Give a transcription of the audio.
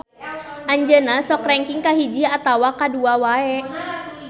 Anjeunna sok rengking kahiji atawa kadua wae.